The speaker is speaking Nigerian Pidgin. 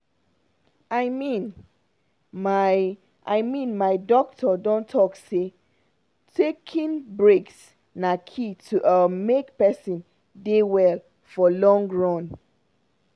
i mean my i mean my doctor don talk say taking breaks na key to um make person dey well for long run.